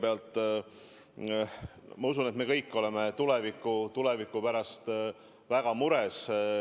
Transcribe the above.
Kõigepealt, ma usun, et me kõik oleme tuleviku pärast väga mures.